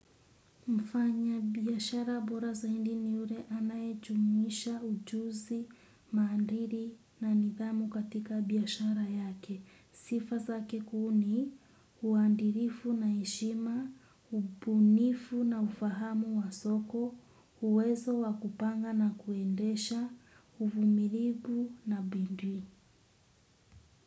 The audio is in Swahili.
Mfanya biashara bora zaidi ni yule anayejumuisha ujuzi, maadili na nidhamu katika biashara yake. Sifa zake kuu ni, uadilifu na heshima, ubunifu na ufahamu wa soko, uwezo wa kupanga na kuendesha, uvumilivu na bidii.